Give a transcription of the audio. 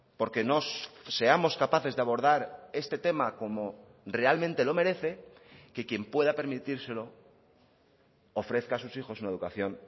porque no seamos capaces de abordar este tema como realmente lo merece que quien pueda permitírselo ofrezca a sus hijos una educación